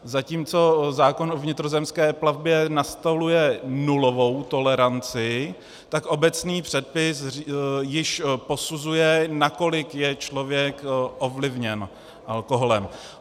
Zatímco zákon o vnitrozemské plavbě nastoluje nulovou toleranci, tak obecný předpis již posuzuje, nakolik je člověk ovlivněn alkoholem.